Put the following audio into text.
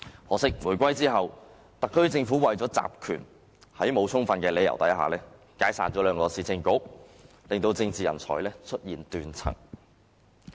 可惜，回歸後，特區政府為了集權，在沒有充分理由下解散兩個市政局，令政治人才出現斷層。